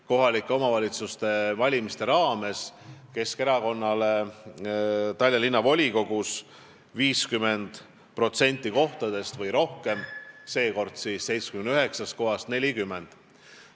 –, kohalike omavalitsuste valimistel Keskerakonnale 50% Tallinna Linnavolikogu kohtadest või rohkem, seekord 79 kohast 40.